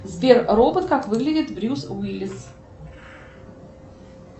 сбер робот как выглядит брюс уиллис